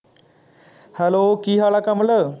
hello ਕੀ ਹਾਲ ਹੈ ਕਮਲ